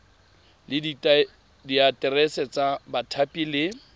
le diaterese tsa bathapi le